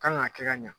Kan ka kɛ ka ɲa